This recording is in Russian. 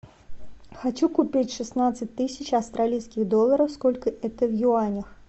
хочу купить шестнадцать тысяч австралийских долларов сколько это в юанях